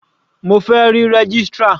Mo fẹ́ rí registrar.